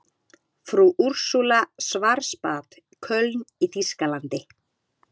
Frú Úrsúla Schwarzbad, Köln í þýskalandi.